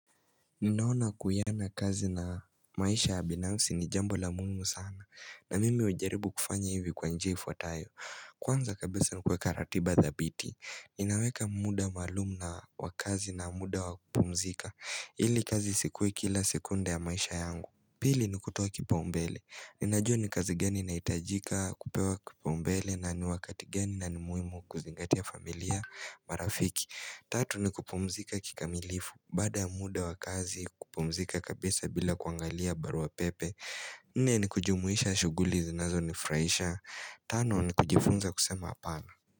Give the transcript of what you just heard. Ninaona kuiana kazi na maisha ya binafsi ni jambo la ugumu sana na mimi hujaribu kufanya hivi kwa njia ifwatayo Kwanza kabisa ni kuweka ratiba dhabiti Ninaweka muda maalumu na wakazi na muda wa kupumzika ili kazi isikuwe kila sekunda ya maisha yangu, Pili ni kutoa kipaumbele Ninajua ni kazi gani inahitajika, kupewa kipaumbele na ni wakati gani na ni muhimu kuzingatia familia marafiki Tatu ni kupumzika kikamilifu baada ya muda wa kazi kupumzika kabisa bila kuangalia barua pepe Nne ni kujumuisha shughuli zinazonifurahisha Tano ni kujifunza kusema apana.